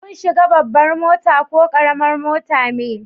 Kun shiga babban mota ko karamin mota me?